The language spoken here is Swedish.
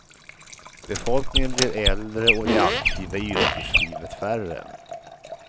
Befolkningen blir äldre och de aktiva i yrkeslivet färre.